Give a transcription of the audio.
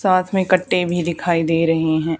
साथ में कट्टे भी दिखाई दे रहे हैं।